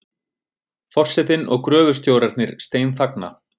Forsetinn og gröfustjórarnir steinþagna.